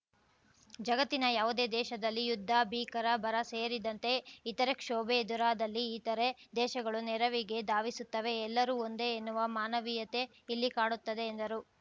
ಜಗತ್ತಿನ ಯಾವುದೇ ದೇಶದಲ್ಲಿ ಯುದ್ಧ ಭೀಕರ ಬರ ಸೇರಿದಂತೆ ಇತರೆ ಕ್ಷೋಭೆ ಎದುರಾದಲ್ಲಿ ಇತರೆ ದೇಶಗಳು ನೆರವಿಗೆ ಧಾವಿಸುತ್ತವೆ ಎಲ್ಲರೂ ಒಂದೇ ಎನ್ನುವ ಮಾನವೀಯತೆ ಇಲ್ಲಿ ಕಾಣುತ್ತದೆ ಎಂದರು